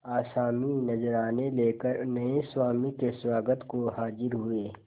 आसामी नजराने लेकर नये स्वामी के स्वागत को हाजिर हुए